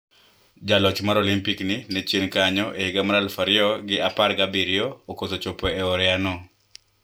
Jaloch mar Olimpik ni ne chien kanyo e higa mar aluf ariyo gi apar gi abiriyo okoso chopo e oreya no